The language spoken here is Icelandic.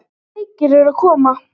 Sjúklega bleikir eru að koma!